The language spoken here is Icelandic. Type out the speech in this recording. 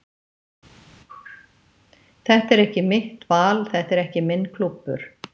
Þetta er ekki mitt val, þetta er ekki minn klúbbur.